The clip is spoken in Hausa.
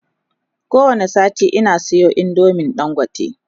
ko wani sati Ina Sayo indomin dangote